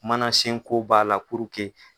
mana sen ko b'a la k'u jɛnni.